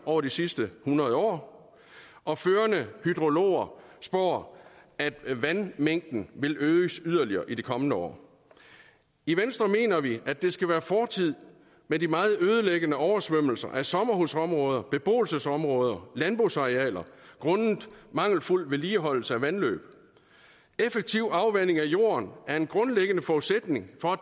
over de sidste hundrede år og førende hydrologer spår at vandmængden vil øges yderligere i de kommende år i venstre mener vi at det skal være fortid med de meget ødelæggende oversvømmelser af sommerhusområder beboelsesområder og landbrugsarealer grundet mangelfuld vedligeholdelse af vandløb effektiv afvanding af jorden er en grundlæggende forudsætning for at